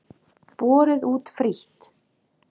Borið út frítt.